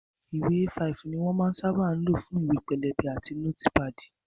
Ìwé A5 ni wón sábà máa ń lò fún ìwé pélébé àti nótípàdì